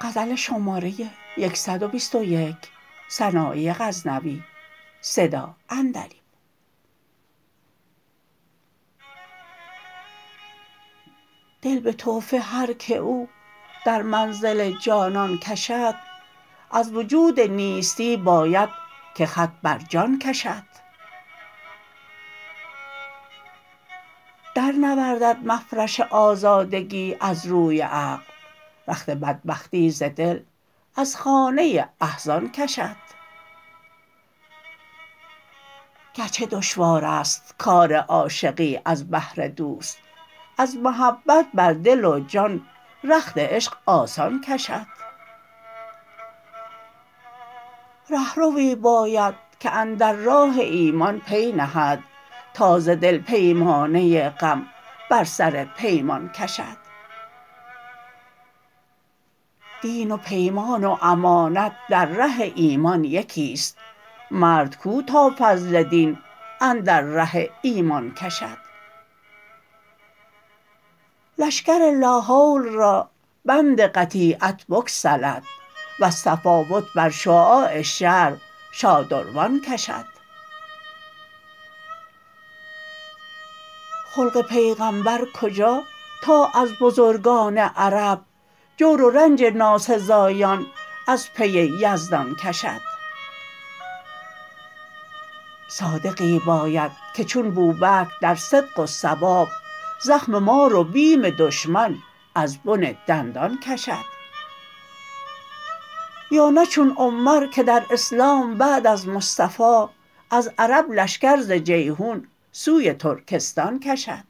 دل به تحفه هر که او در منزل جانان کشد از وجود نیستی باید که خط بر جان کشد در نوردد مفرش آزادگی از روی عقل رخت بدبختی ز دل از خانه احزان کشد گرچه دشوارست کار عاشقی از بهر دوست از محبت بر دل و جان رخت عشق آسان کشد رهروی باید که اندر راه ایمان پی نهد تا ز دل پیمانه غم بر سر پیمان کشد دین و پیمان و امانت در ره ایمان یکیست مرد کو تا فضل دین اندر ره ایمان کشد لشکر لا حول را بند قطیعت بگسلد وز تفاوت بر شعاع شرع شادروان کشد خلق پیغمبر کجا تا از بزرگان عرب جور و رنج ناسزایان از پی یزدان کشد صادقی باید که چون بوبکر در صدق و صواب زخم مار و بیم دشمن از بن دندان کشد یا نه چون عمر که در اسلام بعد از مصطفا از عرب لشکر ز جیحون سوی ترکستان کشد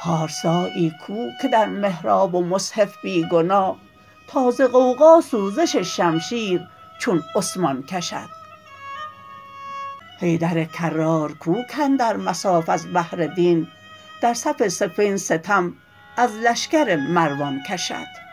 پارسایی کو که در محراب و مصحف بی گناه تا ز غوغا سوزش شمشیر چون عثمان کشد حیدر کرار کو کاندر مصاف از بهر دین در صف صفین ستم از لشکر مروان کشد